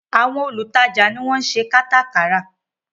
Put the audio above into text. Àwọn olùtajà ni wọ́n ṣe kátà kárà